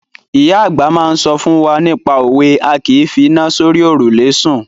Ìyá àgbà máa ń sọ fún wa nípa òwe "A kìí fi iná sórí òrùlé sùn".